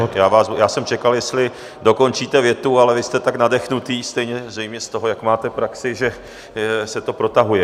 Pane ministře, já jsem čekal, jestli dokončíte větu, ale vy jste tak nadechnutý, zřejmě z toho, jak máte praxi, že se to protahuje.